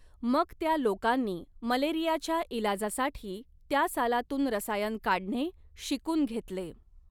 मग त्या लोकांनी मलेरियाच्या इलाजासाठी त्या सालातून रसायन काढणे शीकून घेतले.